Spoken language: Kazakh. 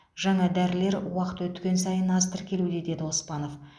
жаңа дәрілер уақыт өткен сайын аз тіркелуде деді оспанов